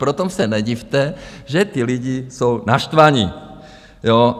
Proto se nedivte, že ty lidi jsou naštvaní.